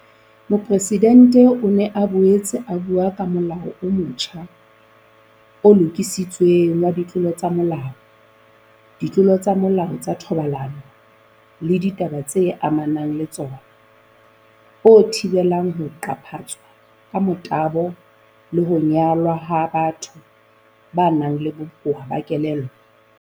Mopresidente o ne a boetse a bua ka Molao o motjha o Lokisitsweng wa Ditlolo tsa Molao, Ditlolo tsa Molao tsa Thobalano le Ditaba tse Amanang le Tsona, o thibelang ho qaphatswa ka motabo le ho nyalwa ha batho ba nang le bokowa ba kelello.